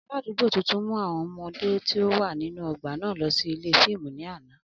Aladugbo tuntun mu awọn ọmọde ti o wa ninu ogba naa lọ si ile fiimu ni ana.